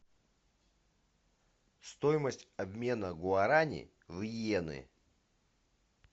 стоимость обмена гуарани в йены